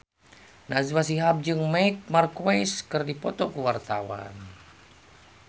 Najwa Shihab jeung Marc Marquez keur dipoto ku wartawan